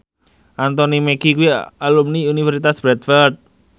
Anthony Mackie kuwi alumni Universitas Bradford